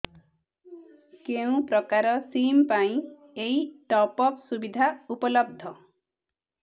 କେଉଁ ପ୍ରକାର ସିମ୍ ପାଇଁ ଏଇ ଟପ୍ଅପ୍ ସୁବିଧା ଉପଲବ୍ଧ